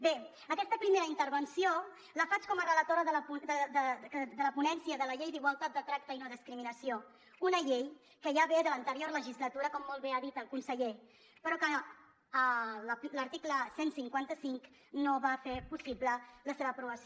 bé aquesta primera intervenció la faig com a relatora de la ponència de la llei d’igualtat de tracte i no discriminació una llei que ja ve de l’anterior legislatura com molt bé ha dit el conseller però que l’article cent i cinquanta cinc no va fer possible la seva aprovació